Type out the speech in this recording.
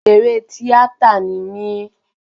Òṣèré tíátà ni mí